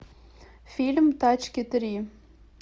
фильм тачки три